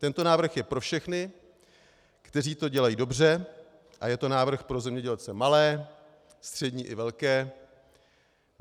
Tento návrh je pro všechny, kteří to dělají dobře, a je to návrh pro zemědělce malé, střední i velké.